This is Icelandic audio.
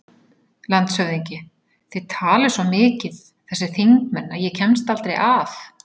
LANDSHÖFÐINGI: Þið talið svo mikið, þessir þingmenn, að ég kemst aldrei að.